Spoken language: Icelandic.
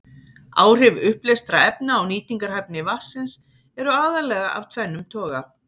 Áhrif uppleystra efna á nýtingarhæfni vatnsins eru aðallega af tvennum toga.